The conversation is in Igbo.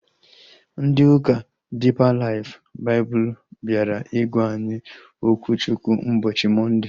Ndị ụka Diipa Laif Baịbụl bịara ịgwa anyị okwu Chukwu ụbọchị Mọnde